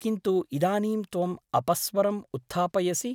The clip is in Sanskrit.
किन्तु इदानीं त्वम् अपस्वरम् उत्थापयसि ।